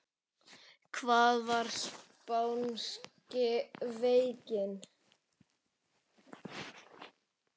Hvað var spánska veikin?